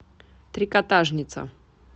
трикотажница